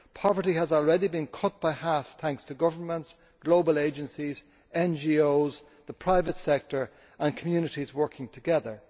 Poverty has already been cut by half, thanks to governments, global agencies, NGOs, the private sector and communities working together.